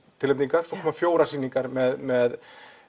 tilnefningar en svo koma fjórar sýningar með